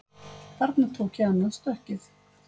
Þarna tók ég annað stökkið